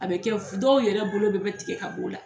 A bɛ kɛ f' dɔw yɛrɛ bolo bɛɛ bɛ tigɛ ka bɔ la.